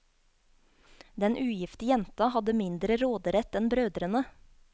Den ugifte jenta hadde mindre råderett enn brødrene.